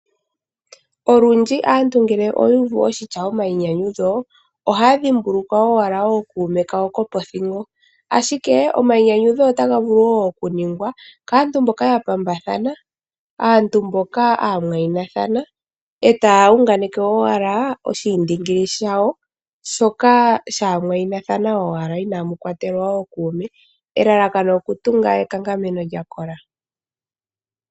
Olundji aantu ngele oyu uvu oshitya omayinyanyudho ohaya dhimbulukwa owala ookuume kawo yopothingo . Omayinyanyudho otaga vulu woo okuningwa kaantu mboka ya pambathana aantu mboka aamwayinathana etaya unganeke owala oshiindingili shawo shoka shaamwayinathana owala inamu kwatelwa ookuume ,elalakano okutunga okutunga ekankameno lya kola